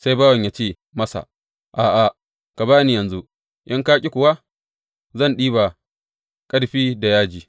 Sai bawan yă ce masa, A’a, ka ba ni yanzu, in ka ƙi kuwa zan ɗiba ƙarfi da yaji.